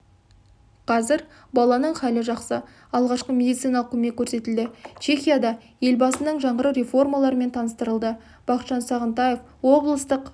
қазір баланың халі жақсы алғашқы медициналық көмек көрсетілді чехияда елбасының жаңғыру реформаларымен таныстырылды бақытжан сағынтаев облыстық